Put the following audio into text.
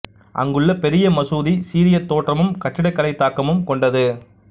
அங்குள்ள பெரிய மசூதி சீரிய தோற்றமும் கட்டிடக்கலைத் தாக்கமும் கொண்டது